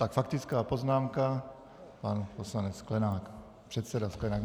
Tak faktická poznámka pan poslanec Sklenák, předseda Sklenák.